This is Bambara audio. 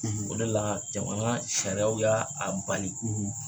O de la jamana sariyaw y'a a bali.